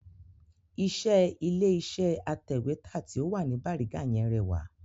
Iṣẹ́ ilé iṣẹ́ atẹ̀wẹ́tà ti o wà ní bariga yẹn rẹwà